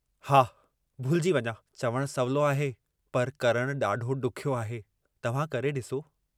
न तूं याद कर, मां हिनखे दुकान अॻियां इहा पिड़ी हटाइण लाइ चयो हो।